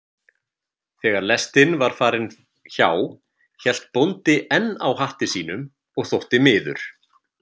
Þegar lestin var farin hjá hélt bóndi enn á hatti sínum og þótti miður.